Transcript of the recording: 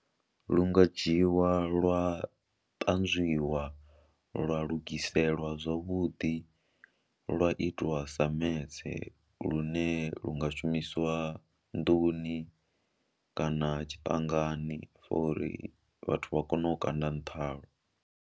Lu nga dzhiiwa lwa ṱanzwiwa lwa lugiselwa zwavhuḓi, lwa itiwa sa metse lune lu nga shumisiwa nḓuni kana tshiṱangani for uri vhathu vha kone u kanda nṱha halwo.